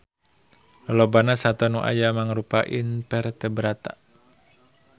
Lolobana sato nu aya mangrupa invertebrata